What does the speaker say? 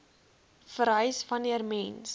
vereis wanneer mens